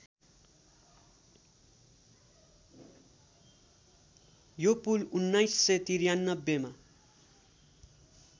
यो पुल १९९३ मा